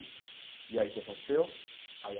E aí o que que aconteceu? Aí a